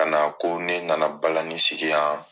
Ka na ko ne nana balani sigi yan